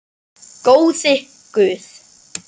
Góði Guð.